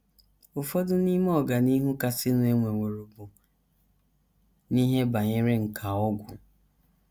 Ụfọdụ n’ime ọganihu kasịnụ e nweworo bụ n’ihe banyere nkà ọgwụ.